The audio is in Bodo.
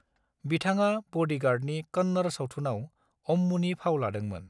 बिथाङा ब'डीगार्डनि कन्नड़ सावथुनआव अम्मूनि फाव लादोंमोन।